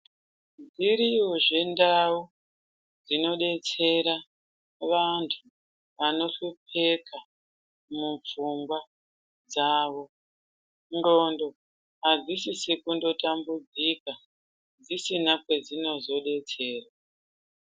Dziriyozve ndau dzinodetsera vantu vanoshopekha mupfungwa dzavo, ndxondo adzisisi kundotambudzika dzisina kwedzinozodetserwa